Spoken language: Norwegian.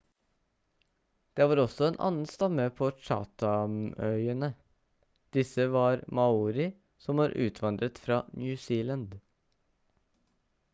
det var også en annen stamme på chathamøyene disse var maori som var utvandret fra new zealand